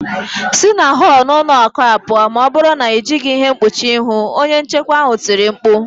Si na họl n'ụlọ akụ a pụọ, ma ọ bụrụ na ị yịghị ihe mkpuchi ihu" onye nchekwa ahụ tiri mkpu